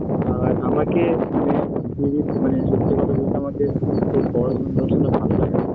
আর আমাকে মানে সত্যি কথা বলতে আমাকে এই পড়াশোনা টরাশোনা ভালো লাগে না